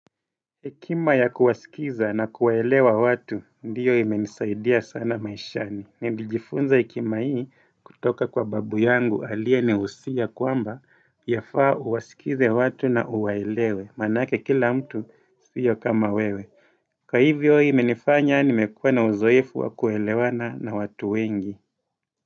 Ekima ya kuwasikiza na kuwaelewa watu ndiyo imenisaidia sana maishani. Nilijifunza ekima hii kutoka kwa babu yangu aliye niusia kwamba yafaa uwasikize watu na uwaelewe. Manake kila mtu sio kama wewe. Kwa hivyo hii menifanya ni mekua na uzoefu wa kuelewana na watu wengi.